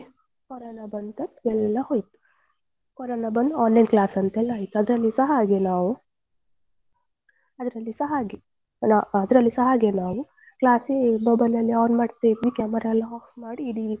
Corona ಬಂದು ಎಲ್ಲ ಹೋಯ್ತು ಕೊರೋನಾ ಬಂದು online class ಅಂತೆಲ್ಲಾ ಆಯ್ತು. ಅದರಲ್ಲಿಸ ಹಾಗೆ ನಾವು ಅದರಲ್ಲಿಸ ಹಾಗೆ ಅದ್ರಲ್ಲಿಸ ಹಾಗೆ ನಾವು class ಗೆ mobile ಅಲ್ಲಿ on ಮಾಡ್ತಿದ್ವಿ camera ಎಲ್ಲ off ಮಾಡಿ ಇಡಿ,